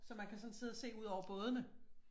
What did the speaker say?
Så man kan sådan sidde og se ud over bådene